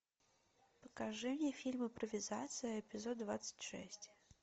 покажи мне фильм импровизация эпизод двадцать шесть